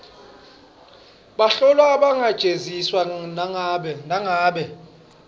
bahlolwa abangajeziswa nangabe